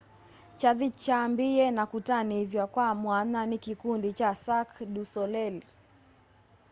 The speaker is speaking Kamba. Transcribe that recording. kyathĩ kyambĩĩe na kũtanĩthw'a kwa mwanya nĩ kĩkũndĩ cha cĩrqũe dũ solelĩ